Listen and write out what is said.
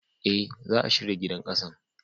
Eh, za'a shirya gidan ƙasan.